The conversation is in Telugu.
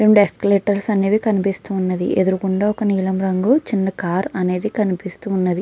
రెండు ఎస్కలేటర్స్ అనేవి కనిపిస్తున్నవి. ఎదుగుండా నీలం రంగు చిన్న కార్ అనేది కనిపిస్తుంది.